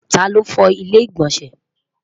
ta ló fo ilé igbọnsẹ?